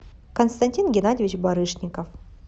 константин геннадьевич барышников